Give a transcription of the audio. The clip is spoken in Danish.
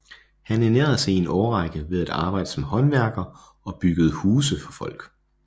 Han ernærede sig i en årrække ved at arbejde som håndværker og byggede huse for folk